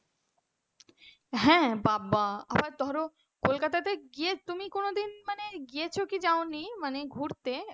হ্যাঁ বাবা আবার ধরো কলকাতায় গিয়ে তুমি কোনদিন মানে গিয়েছো কি যাও নি ঘুরতে।